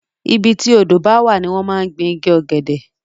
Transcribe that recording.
ibi tí odó bá wà ní wọ́n máa ń gbin igi ọ̀gẹ̀dẹ̀